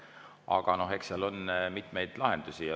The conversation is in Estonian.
Aga eks ole mitmeid lahendusi.